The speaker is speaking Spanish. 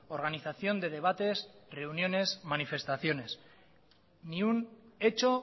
organización de debates reuniones manifestaciones ni un hecho